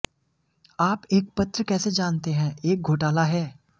आप एक पत्र कैसे जानते हैं एक घोटाला है